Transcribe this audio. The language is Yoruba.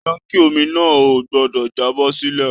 Tánkí omi náà o gbọdọ jábọ́-sílẹ̀ o!